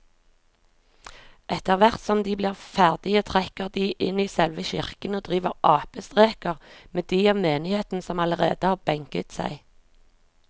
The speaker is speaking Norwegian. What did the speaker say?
Etterthvert som de blir ferdige trekker de inn i selve kirken og driver apestreker med de av menigheten som allerede har benket seg.